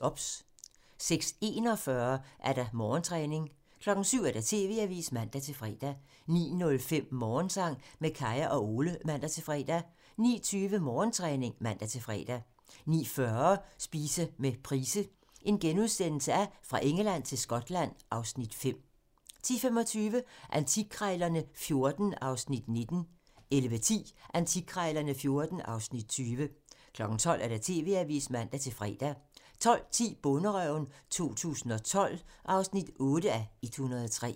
OBS * 06:41: Morgentræning (man) 07:00: TV-avisen (man-fre) 09:05: Morgensang med Kaya og Ole (man-fre) 09:20: Morgentræning (man-fre) 09:40: Spise med Price - Fra Engeland til Skotland (Afs. 5)* 10:25: Antikkrejlerne XIV (Afs. 19) 11:10: Antikkrejlerne XIV (Afs. 20) 12:00: TV-avisen (man-fre) 12:10: Bonderøven 2012 (8:103)